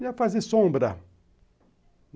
Ia fazer sombra.